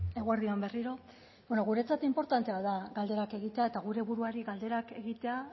eguerdi on berriro bueno guretzat inportantea da galderak egitea eta gure buruari galderak egitea